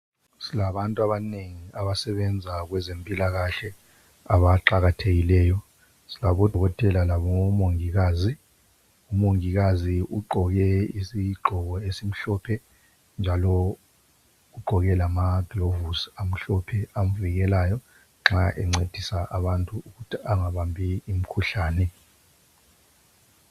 Silabantu abanengi abasebenza kwezempilakahle abaqakathekileyo, silabodokotela labomongikazi umongikazi ugqoke isigqoko esimhlophe njalo ugqoke lamagilovisi amhlophe avikelayo nxa ephathisa abantu ukuthi engabambi umkhuhlane.